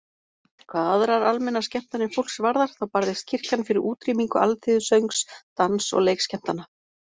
Hvað aðrar almennar skemmtanir fólks varðar þá barðist kirkjan fyrir útrýmingu alþýðusöngs, dans- og leikskemmtana.